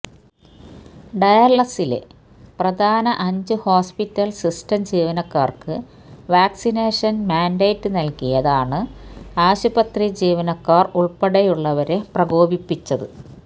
ഡാളസ്സിലെ പ്രധാന അഞ്ചു hospital system ജീവനക്കാർക്ക് വാക്സിനേഷൻ മാൻഡേറ്റ് നൽകിയ താണ് ആശുപത്രി ജീവനക്കാർ ഉൾപ്പെടെയുള്ളവ രെ പ്രകോപിപ്പിച്ചത്